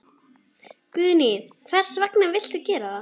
Guðný: Hvers vegna viltu gera það?